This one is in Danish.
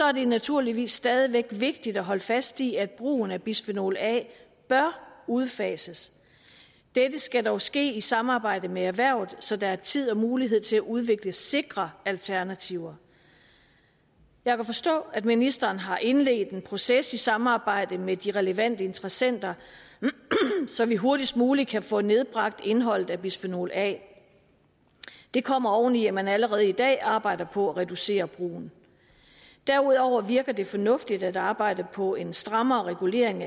at det naturligvis stadig væk er vigtigt at holde fast i at brugen af bisfenol a bør udfases dette skal dog ske i samarbejde med erhvervet så der er tid og mulighed til at udvikle sikre alternativer jeg kan forstå at ministeren har indledt en proces i samarbejde med de relevante interessenter så vi hurtigst muligt kan få nedbragt indholdet af bisfenol a det kommer oven i at man allerede i dag arbejder på at reducere brugen derudover virker det fornuftigt at arbejde på en strammere regulering